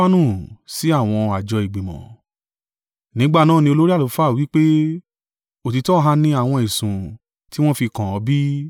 Nígbà náà ni olórí àlùfáà wí pé, “Òtítọ́ ha ni àwọn ẹ̀sùn tí wọ́ fi kàn ọ́ bí?”